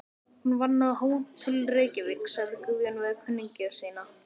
Hún vann á Hótel Reykjavík, sagði Guðjón við kunningja sína.